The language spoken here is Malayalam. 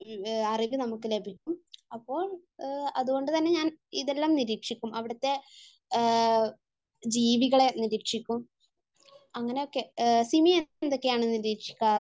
അറിവ് നമുക്ക് ലഭിക്കും അപ്പോൾ അതുകൊണ്ട് തന്നെ ഞാൻ ഇതെല്ലം നിരീക്ഷിക്കും അവിടുത്തെ ജീവികളെ നിരീക്ഷിക്കും അങ്ങനെയൊക്കെ . സിമി എന്തൊക്കെയാണ് നിരീക്ഷിക്കാറ്?